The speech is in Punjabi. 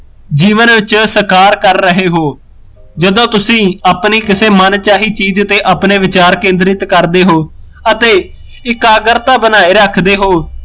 ਜੀਵਨ ਵਿੱਚ ਸਕਾਰ ਕਰ ਰਹੇ ਹੋ ਜਦੋ ਤੁਸੀਂ ਆਪਣੀ ਕਿਸੇ ਮਨਚਾਹੀ ਚੀਜ਼ ਉੱਤੇ ਆਪਣੇ ਵਿਚਾਰ ਕੇਂਦਰਿਤ ਕਰਦੇ ਹੋ ਅਤੇ ਏਕਾਗ੍ਰਤਾ ਬਨਾਏ ਰਖਦੇ ਹੋ